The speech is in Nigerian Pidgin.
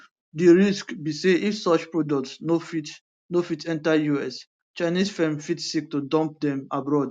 di risk be say if such products no fit no fit enta us chinese firms fit seek to dump dem abroad